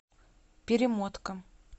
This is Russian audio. перемотка